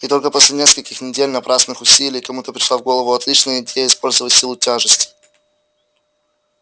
и только после нескольких недель напрасных усилий кому-то пришла в голову отличная идея использовать силу тяжести